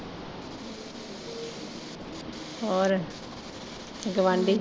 ਹੋਰ ਗਆਂਢੀ।